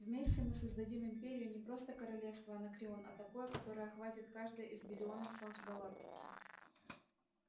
вместе мы создадим империю не просто королевство анакреон а такое которое охватит каждое из биллионов солнц галактики